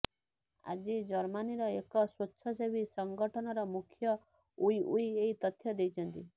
ଆଜି ଜର୍ମାନୀର ଏକ ସ୍ୱେଚ୍ଛସେବୀ ସଂଗଠନର ମୁଖ୍ୟ ଓ୍ବି ଓ୍ବି ଏହି ତଥ୍ୟ ଦେଇଛନ୍ତି